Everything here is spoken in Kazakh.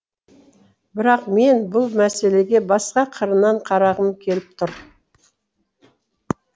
бірақ мен бұл мәселеге басқа қырынан қарағым келіп тұр